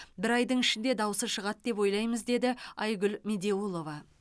бір айдың ішінде даусы шығады деп ойлаймыз деді айгүл медеулова